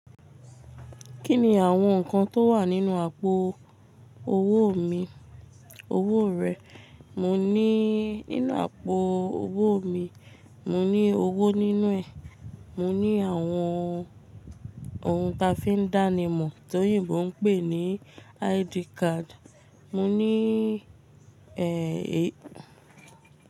Kí ni àwọn nǹkan tó wà nínú àpò owó mi, owó rẹ? Mo ní nínú àpò owó mi, mo ní owó nínú ẹ̀, mo ní àwọn ohun ta fi ń dánimọ̀ tòyìnbó ń pè ní ID card, mo ní ẹ́